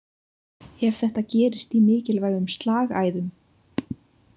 Ef þetta gerist í mikilvægum slagæðum.